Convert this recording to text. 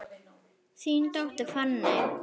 Þín dóttir, Fanney.